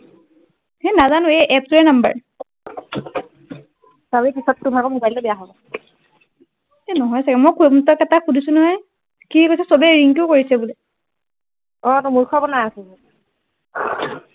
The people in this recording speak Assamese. সেই নাজানো এই app টোৱেই নাম্বৰ চাবি পিছত টোৰ ভাগৰ mobile টো বেয়া হব এই নহয় চাগে মই এপাক শুধিছো নহয় সি কৈছে চবেই ৰিংকিয়ে কৰিছে বোলে অ তোক মূৰ্খ বনাই আছে সি